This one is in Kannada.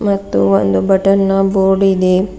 ಮತ್ತು ಒಂದು ಬಟನ್ ನ ಬೋರ್ಡ್ ಇದೆ.